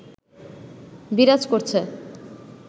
বিরাজ করছে